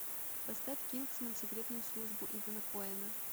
поставь кингсман секретную службу итана коэна